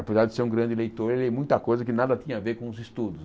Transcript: Apesar de ser um grande leitor, eu li muita coisa que nada tinha a ver com os estudos.